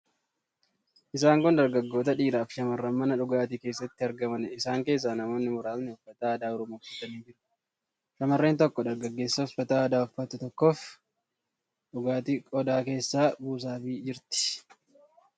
Isaan kun dargaggoota, dhiiraafi shammarran mana dhugaatii keessatti argamaniidha. Isaan keessaa namoonni muraasni uffata aadaa Oromoo uffatanii jiru. Shamarreen tokko dargaggeessa uffata aadaa uffatu tokkoof dhugaatii qodaa keessaa buusaafii jirti.